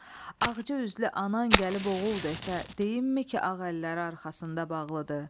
Ağca üzlü anan gəlib oğul desə, deyimmi ki, ağ əlləri arxasında bağlıdır?